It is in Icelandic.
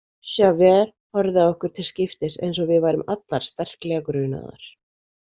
Javert horfði á okkur til skiptis eins og við værum allar sterklega grunaðar.